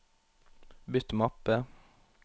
bytt mappe